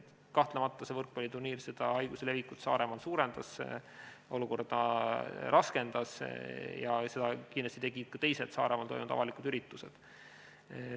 Kahtlemata see võrkpalliturniir haiguse levikut Saaremaal suurendas, olukorda raskendas ja seda tegid kindlasti ka teised Saaremaal toimunud avalikud üritused.